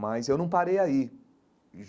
Mas eu não parei aí.